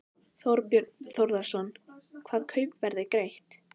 Þorbjörn Þórðarson: Hvaða kaupverð er greitt?